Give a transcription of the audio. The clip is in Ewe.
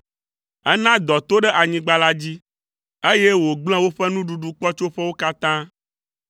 Ena dɔ to ɖe anyigba la dzi, eye wògblẽ woƒe nuɖuɖukpɔtsoƒewo katã,